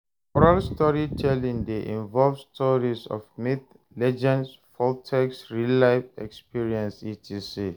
Oral storytelling de involve stories of myths, legends, folktakes, real life experience etc.